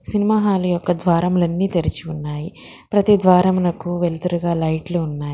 Cinema hall యొక్క ద్వారములన్నీ తెరిచి ఉన్నాయి ప్రతి ద్వారమునకు వెళ్తురుగా లైట్లు ఉన్నాయి.